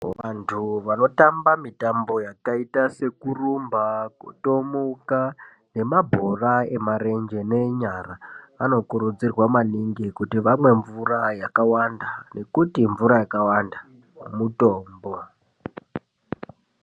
Vantu vanohamba mitambo yakaita sekurumba, kutomuka nemabhora emarenje nenyara anokurudzirwa maningi kuti vamwe mvura yakawanda nekuti mvura yakawanda mutombo.